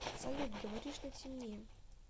салют говоришь на темне